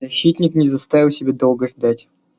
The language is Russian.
защитник не заставил себя долго ждать